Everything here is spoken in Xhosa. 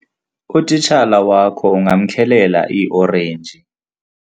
utitshala wakho ungamkhelela iiorenji